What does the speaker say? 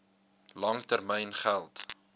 lang termyn geld